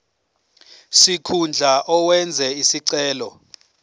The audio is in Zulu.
sikhundla owenze isicelo